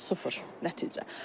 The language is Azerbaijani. Sıfır nəticə.